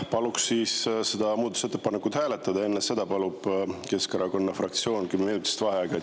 Palun seda muudatusettepanekut hääletada ja enne seda palub Keskerakonna fraktsioon kümneminutilist vaheaega.